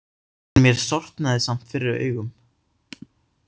En mér sortnaði samt fyrir augum.